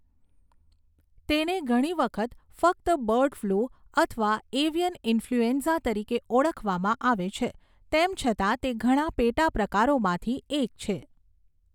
તેને ઘણી વખત ફક્ત બર્ડ ફ્લૂ અથવા એવિયન ઈન્ફલ્યુએન્ઝા તરીકે ઓળખવામાં આવે છે, તેમ છતાં તે ઘણા પેટા પ્રકારોમાંથી એક છે.